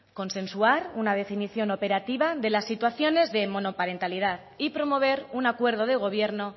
consensuar una definición operativa de las situaciones de monoparentalidad y promover un acuerdo de gobierno